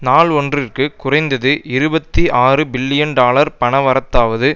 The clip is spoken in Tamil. நாள் ஒன்றிற்கு குறைந்தது இருபத்தி ஆறு பில்லியன் டாலர் பணவரத்தாவது